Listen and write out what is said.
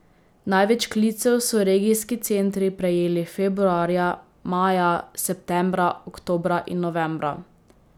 Največ klicev so regijski centri prejeli februarja, maja, septembra, oktobra in novembra.